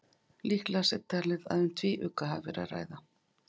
Líklegast er talið að um hvítugga hafi verið að ræða.